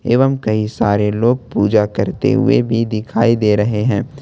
एवं कई सारे लोग पूजा करते हुए भी दिखाई दे रहे हैं ।